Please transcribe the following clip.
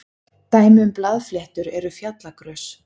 dæmi um blaðfléttur eru fjallagrös